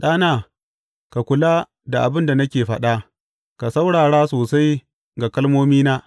Ɗana, ka kula da abin da nake faɗa, ka saurara sosai ga kalmomina.